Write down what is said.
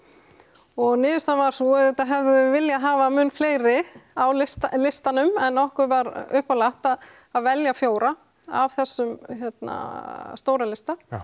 og niðurstaðan var sú auðvitað hefðum við viljað hafa mun fleiri á listanum listanum en okkur var uppálagt að að velja fjóra af þessum hérna stóra lista